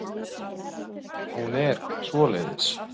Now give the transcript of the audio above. Hún er svoleiðis.